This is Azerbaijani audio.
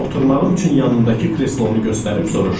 Oturmağım üçün yanındakı kreslonu göstərib soruşdu.